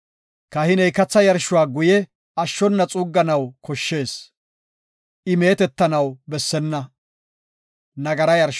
Kahiney katha yarshuwa guye ashshona xuugganaw koshshees; I meetetanaw bessenna.